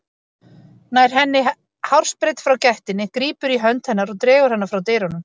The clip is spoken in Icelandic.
Nær henni hársbreidd frá gættinni, grípur í hönd hennar og dregur hana frá dyrunum.